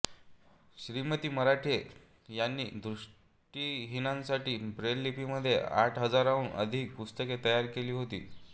श्रीमती मराठे यांनी दृष्टिहीनांसाठी ब्रेल लिपीमध्ये आठ हजाराहून अधिक पुस्तके तयार केली होती